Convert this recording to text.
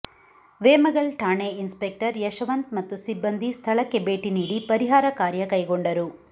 ವೇಮಗಲ್ ಠಾಣೆ ಇನ್ಸ್ಪೆಕ್ಟರ್ ಯಶವಂತ್ ಮತ್ತು ಸಿಬ್ಬಂದಿ ಸ್ಥಳಕ್ಕೆ ಭೇಟಿ ನೀಡಿ ಪರಿಹಾರ ಕಾರ್ಯ ಕೈಗೊಂಡರು